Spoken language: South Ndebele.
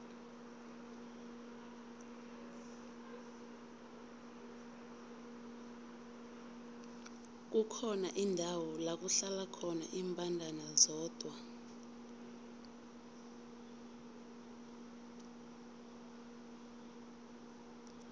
kukhona indawo lakuhlala khona imbandana zodwa